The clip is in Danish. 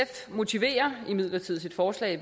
motiverer imidlertid sit forslag